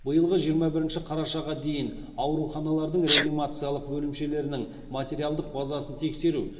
биылғы жиырма бірінші қарашаға дейін ауруханалардың реанимациялық бөлімшелерінің материалдық базасын тексеру